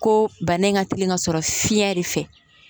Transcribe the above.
Ko bana in ka teli ka sɔrɔ fiɲɛ de fɛ